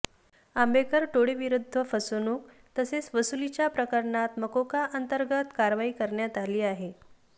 आंबेकर टोळीविरुद्ध फसवणूक तसेच वसुलीच्या प्रकरणात मकोका अंतर्गत कारवाई करण्यात आली आहे